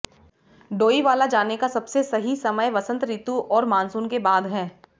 डोईवाला जाने का सबसे सही समय वसंत ऋतु और मानसून के बाद है